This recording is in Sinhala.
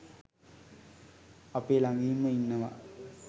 අපේ ළඟින්ම ඉන්නවා.